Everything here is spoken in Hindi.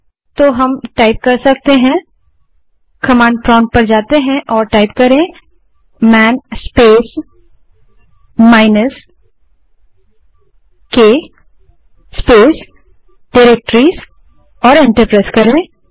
तो हम कमांड प्रोंप्ट पर जा सकते हैं और man space minus K space directories type करें और एंटर दबायें